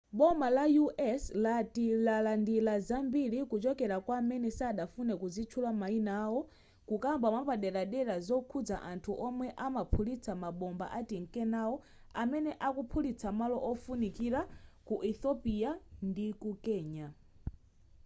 boma la u.s. lati lalandira zambiri kuchokera kwa amene sadafune kuzitchula mayina awo kukamba mwapaderadera zokhuza anthu omwe amaphulitsa mabomba atinkenawo amene akukaphulitsa malo ofunikira ku ethiopia ndiku kenya